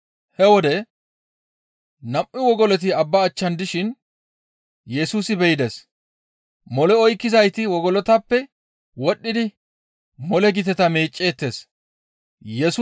He wode nam7u wogoloti abba achchan dishin Yesusi be7ides. Mole oykkizayti wogolotappe wodhdhidi mole giteta meecceettes. Mole oykkizayti wogolon diidi mole oykkishin